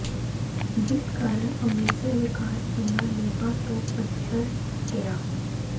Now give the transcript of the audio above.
ਜਿਸ ਕਾਰਨ ਅੰਮ੍ਰਿਤਸਰ ਵਿਕਾਸ ਦੀਆਂ ਲੀਹਾਂ ਤੋਂ ਪੱਛੜ ਗਿਆ